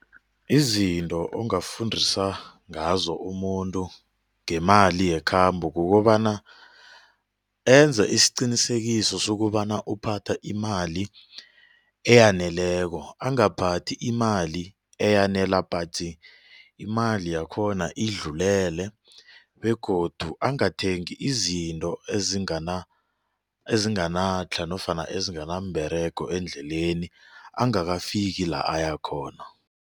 Izinto ungafundisa ngazo umuntu ngemali yekhambo kukobana enze isiqinisekiso sokobana uphatha imali eyaneleko angaphathi imali eyanela patsi imali yakhona idlulele begodu angathengi izinto ezingana ezinganatlha nofana ezinganamberego endleleni angakafiki la ayakhona.